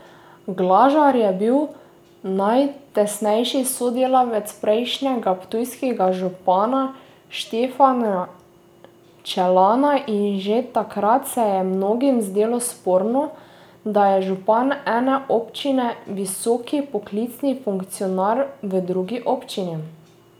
Glažar je bil najtesnejši sodelavec prejšnjega ptujskega župana Štefana Čelana in že takrat se je mnogim zdelo sporno, da je župan ene občine visoki poklicni funkcionar v drugi občini.